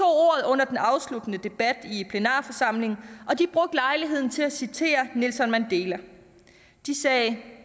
under den afsluttende debat i plenarforsamlingen og de brugte lejligheden til at citere nelson mandela de sagde